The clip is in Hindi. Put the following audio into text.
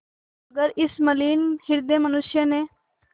मगर इस मलिन हृदय मनुष्य ने